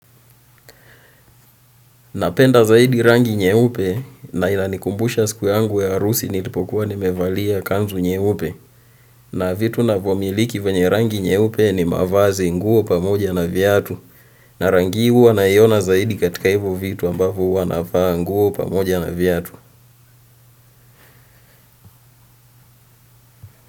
Napenda zaidi rangi nyeupe na inanikumbusha siku yangu ya harusi nilipokuwa nimevalia kanzu nyeupe. Na vitu navomiliki venye rangi nyeupe ni mavazi, nguo pamoja na viatu na rangi huwa naiona zaidi katika hivo vitu ambavo huwa navaa nguo pamoja na viatu.